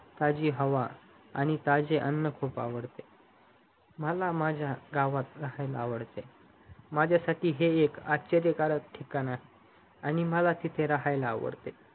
ताजी हवा आणि ताजे अन्न खूप आवडते माला माझ्या गावात राहाययला आवडतेमाझ्या साथी हे एक आश्चर्यकारक ठिकाण आहे आणि मला तिथे राहायला आवडते